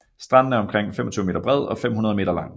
Stranden er omkring 25 m bred og 500 m lang